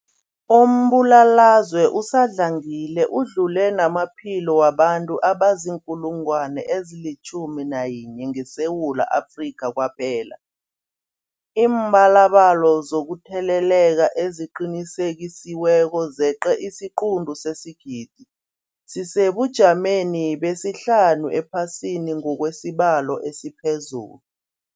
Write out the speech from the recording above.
Umbulalazwe usadlangile udlule namaphilo wabantu abaziinkulungwana ezi-11 ngeSewula Afrika kwaphela. Iimbalobalo zokutheleleka eziqinisekisiweko zeqe isiquntu sesigidi, sisesebujameni besihlanu ephasini ngokwesibalo esiphezulu.